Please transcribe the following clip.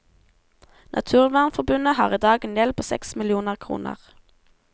Naturvernforbundet har i dag en gjeld på seks millioner kroner.